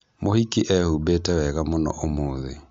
Mũhiki ehumbĩte wega mũno ũmũthĩ